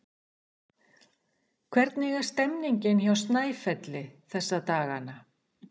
Hvernig er stemningin hjá Snæfelli þessa dagana?